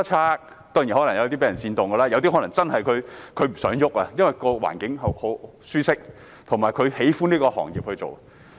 有些當然可能是被煽動的，有些可能真的不想改變，因為環境舒適及喜歡從事這個行業。